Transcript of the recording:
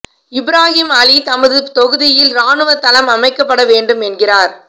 இப்ராஹிம் அலி தமது தொகுதியில் இராணுவத் தளம் அமைக்கப்பட வேண்டும் என்கிறார்